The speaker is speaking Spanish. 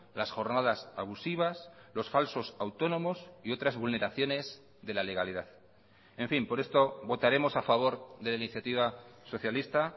las jornadas abusivas los falsos autónomos y otras vulneraciones de la legalidad en fin por esto votaremos a favor de la iniciativa socialista